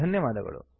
ಧನ್ಯವಾದಗಳು